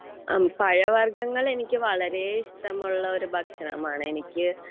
പഴവർഗ്ഗങ്ങൾ എനിക്ക് വളരെ ഇഷ്ടമുള്ള ഒരുഭക്ഷണമാണ് എനിക്ക്